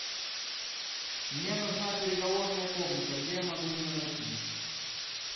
мне нужна переговорная комната где я могу ее найти